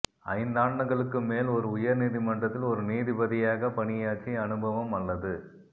ஐந்தாண்டுகளுக்கு மேல் ஒரு உயர் நீதி மன்றத்தில் ஒரு நீதிபதியாக பண்யாற்றிய அனுபவம் அல்லது